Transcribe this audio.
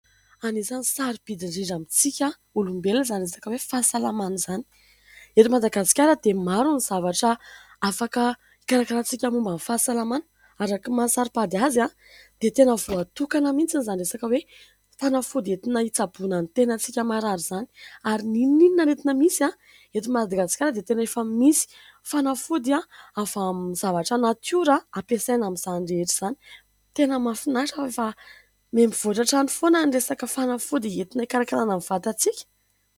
Anisan'ny sarobidy indrindra amin-tsika olombelona izany resaka hoe fahasalamana izany. Eto Madagasikara dia maro ny zavatra afaka karakaraintsika momban'ny fahasalamana. Araka ny maha saropady azy dia tena voatokana mihintsy izany resaka hoe fanafody entina hitsabona ny tenantsika marary izany, ary n'inon'inona aretina misy eto Madagasikara dia tena efa misy fanafody avy amin'ny zavatra natiora hampasaina amin'izany rehetra izany. Tena mahafinaritra fa miha mivoatra hatrany foana ny resaka fanafody entina hikarakarana ny vatantsika.